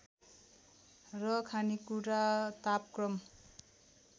र खानेकुरा तापक्रम